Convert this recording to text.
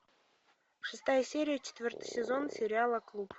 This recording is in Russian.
шестая серия четвертый сезон сериала клуб